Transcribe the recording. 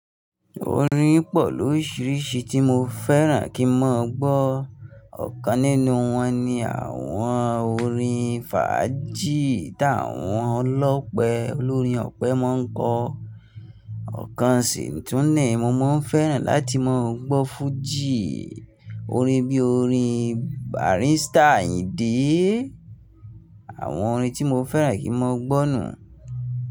Orin pọ̀ lóríṣiríṣi tí mo fẹ́ràn kí n mọ gbọ́. Ọ̀kan nínú wọn ni àwọn orin fàájì tí àwọn olópè olórin ọ̀pẹ máa ń kọ. Ọ̀kan sì tún nì mo máa fẹ́ràn láti máa gbọ́ fújì, orin bí orin Barrister Àyìndé. Àwọn orin tí mo fẹ́ràn kí mọ gbọ́ nù.